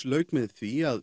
lauk með því að